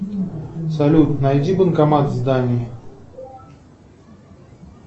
салют найди банкомат в здании